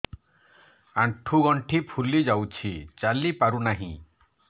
ଆଂଠୁ ଗଂଠି ଫୁଲି ଯାଉଛି ଚାଲି ପାରୁ ନାହିଁ